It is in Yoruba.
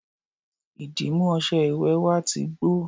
ìdìmú ọṣẹ ìwẹ̀ wa ti gbó